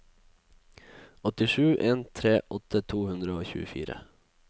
åtte sju en tre åtti to hundre og tjuefire